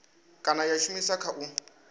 kana ya shumiswa kha u